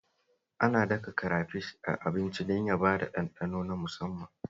Ana daka karafish a abinci domin ya bada ɗanɗano na musamman